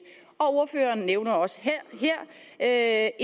og ordføreren nævner også her